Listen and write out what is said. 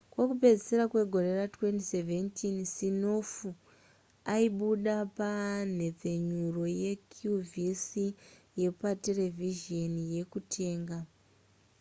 kokupedzisira kwegore ra2017 siminoff aibuda panhepfenyuro yeqvc yepa terevhizheni yekutenga